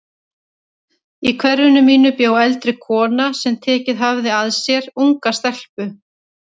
Í hverfinu mínu bjó eldri kona sem tekið hafði að sér unga stelpu.